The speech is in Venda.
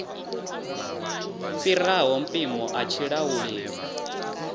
fhiraho mpimo a tshi lauleli